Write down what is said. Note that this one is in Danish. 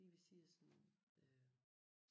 Lige ved siden af sådan øh